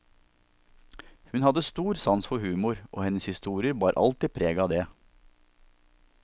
Hun hadde stor sans for humor, og hennes historier bar alltid preg av det.